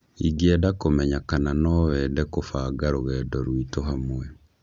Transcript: Ingĩenda kũmenya kana no wende kũbanga rũgendo rwitũ hamwe